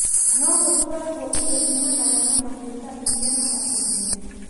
no gũtwaragwo indo ciunanaga na mahiũ ta iria na matumbĩ